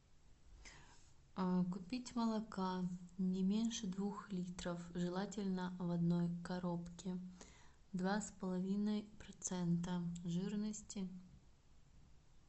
купить молока не меньше двух литров желательно в одной коробке два с половиной процента жирности